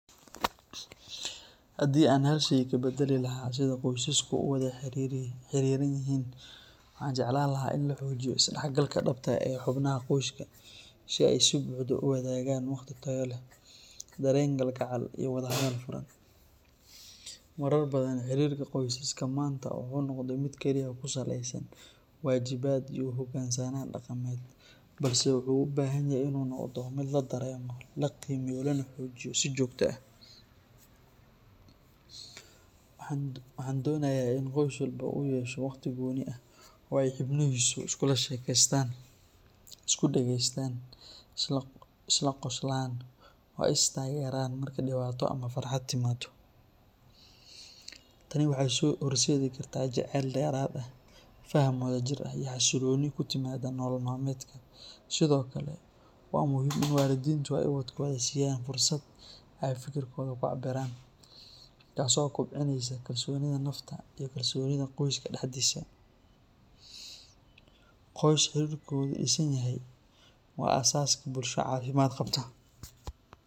Haddii aan hal shay ka beddeli lahaa sida qoysaska u wada xiriran yihiin, waxaan jeclaan lahaa in la xoojiyo isdhexgalka dhabta ah ee xubnaha qoyska, si ay si buuxda u wadaagaan waqti tayo leh, dareen kalgacal, iyo wada hadal furan. Marar badan, xiriirka qoysaska maanta wuxuu noqday mid kaliya ku saleysan waajibaad iyo u hoggaansanaan dhaqameed, balse wuxuu u baahan yahay in uu noqdo mid la dareemo, la qiimeeyo, lana xoojiyo si joogto ah. Waxaan doonayaa in qoys walba uu yeesho waqti gooni ah oo ay xubnihiisu iskula sheekaystaan, isku dhageystaan, isla qoslahaaan oo ay is taageeraan marka dhibaato ama farxad timaado. Tani waxay horseedi kartaa jacayl dheeraad ah, faham wadajir ah, iyo xasillooni ku timaadda nolol maalmeedka. Sidoo kale, waa muhiim in waalidiintu ay ubadkooda siiyaan fursad ay fikir kooda ku cabiraan, taasoo kobcinaysa kalsoonida nafta iyo kalsoonida qoyska dhexdiisa. Qoys xiriirkoodu dhisan yahay waa aasaaska bulsho caafimaad qabta.